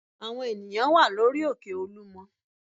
Àwọn ènìyàn wà lórí òkè Olúmọ